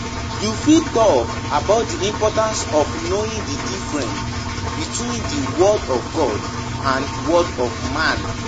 We must learn to follow our own convictions and values.